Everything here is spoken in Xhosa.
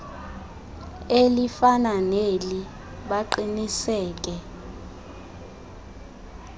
elifana neli baqiniseke